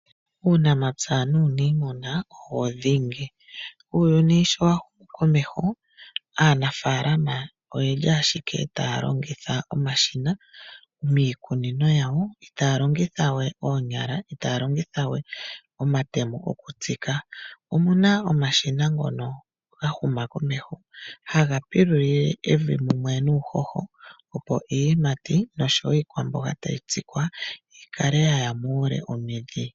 Uunamapya nuunimuna owo dhingi. Uuyuni sho wa humu komeho aanafalama oyeli ashike taya longitha omashina miikunino yawo, itaya longitha we oonyala, itaya longithawe omatemo mokutsika. Omuna omashina ngono ga huma komeho, haga pilulile evi mumwe nuuhoho, opo iiyimati noshowo iikwamboga tayi tsikwa, yi kale yaya muule omidhi.